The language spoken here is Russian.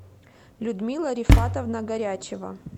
людмила рифатовна горячева